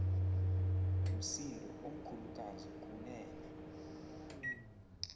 msindo omkhulukazi kunene